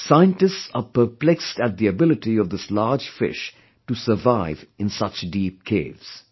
Scientists are perplexed at the ability of this large fish to survive in such deep caves